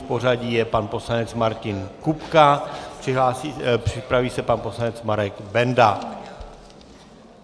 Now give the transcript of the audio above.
V pořadí je pan poslanec Martin Kupka, připraví se pan poslanec Marek Benda.